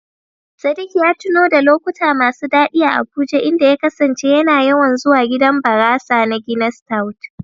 Sadik ya tuno da lokuta masu daɗi a Abuja, inda ya kasance yana yawan zuwa gidan barasa na "Guinness stout".